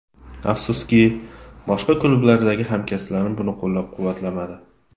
Afsuski, boshqa klublardagi hamkasblarim buni qo‘llab-quvvatlamadi.